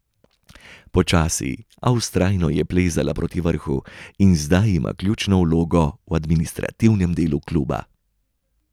Počasi, a vztrajno je plezala proti vrhu in zdaj ima ključno vlogo v administrativnem delu kluba.